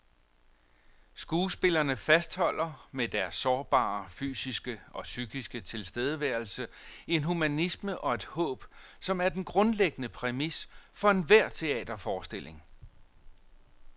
Skuespillerne fastholder med deres sårbare fysiske og psykiske tilstedeværelse en humanisme og et håb, som er den grundlæggende præmis for enhver teaterforestilling.